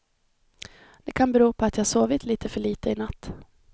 Det kan bero på att jag sovit litet för litet i natt.